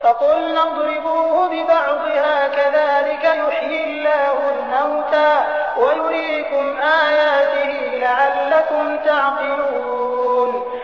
فَقُلْنَا اضْرِبُوهُ بِبَعْضِهَا ۚ كَذَٰلِكَ يُحْيِي اللَّهُ الْمَوْتَىٰ وَيُرِيكُمْ آيَاتِهِ لَعَلَّكُمْ تَعْقِلُونَ